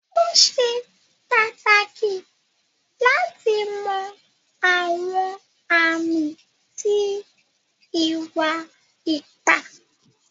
O ṣè pátákì láti mọ̀ àwọn àmì tí ìwà-ìpà.